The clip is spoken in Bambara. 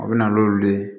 A bɛ na n'olu ye